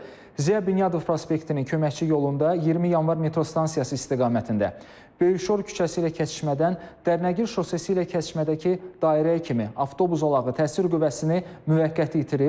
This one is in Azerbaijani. Ziya Bünyadov prospektinin köməkçi yolunda 20 Yanvar metro stansiyası istiqamətində Böyük Şor küçəsi ilə kəsişmədən Dərnəgül şosesi ilə kəsişmədəki dairəyə kimi avtobus zolağı təsir qüvvəsini müvəqqəti itirib.